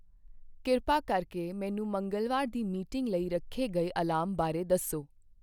ਕਿਰਪਾ ਕਰਕੇ ਮੈਨੂੰ ਮੰਗਲਵਾਰ ਦੀ ਮੀਟਿੰਗ ਲਈ ਰੱਖੇ ਗਏ ਅਲਾਰਮ ਬਾਰੇ ਦੱਸੋ